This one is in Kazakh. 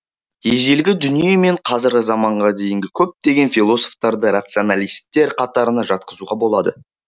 ежелгі дүние мен қазіргі заманға дейінгі көптеген философтарды рационалистер қатарына жатқызуға болады